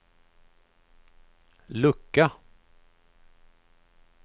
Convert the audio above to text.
lucka